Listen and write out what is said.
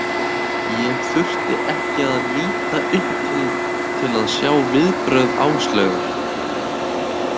Ég þurfti ekki að líta upp til að sjá viðbrögð Áslaugar.